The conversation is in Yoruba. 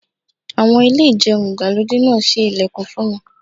Àwọn.... Ilé ìjẹun ìgbàlódé náà ṣí ilẹ̀kùn fún mi.